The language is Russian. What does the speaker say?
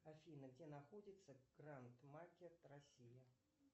афина где находится гранд макет россия